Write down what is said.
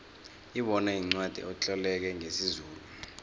ibona yincwacli etloleke ngesizulu